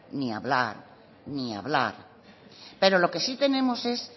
ni hablar ni hablar pero lo que sí tenemos es